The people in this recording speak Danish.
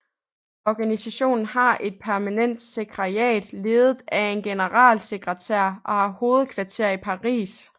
Organisationen har et permanent sekretariat ledet af en generalsekretær og har hovedkvarter i Paris